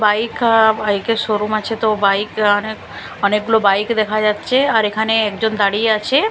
bike আ বাইকের showroom আছে তো বাইক অনেক অনেকগুলো বাইক দেখা যাচ্ছে আর এখানে একজন দাঁড়িয়ে আছে --